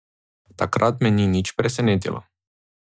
Takrat me ni nič presenetilo.